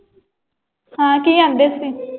ਹਾਂ ਕੀ ਕਹਿੰਦੇ ਸੀ?